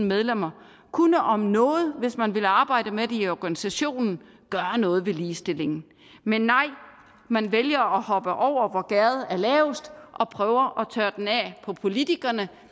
medlemmer kunne om nogen hvis man ville arbejde med det i organisationen gøre noget ved ligestillingen men nej man vælger at hoppe over hvor gærdet er lavest og prøver tørre den af på politikerne